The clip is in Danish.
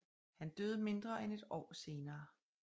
Han døde mindre end et år senere